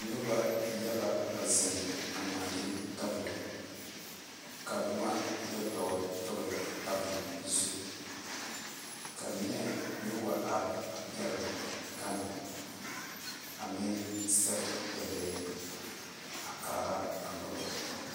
Noba yaga zeŋ gɔle tabole ka boma yaga yɛ gɔlegɔle ka neɛ meŋ wa are pɛle gane a ne sɛŋe daale a kaa noba .